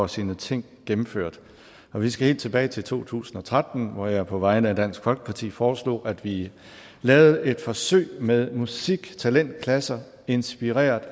sine ting gennemført og vi skal helt tilbage til to tusind og tretten hvor jeg på vegne af dansk folkeparti foreslog at vi lavede et forsøg med musiktalentklasser inspireret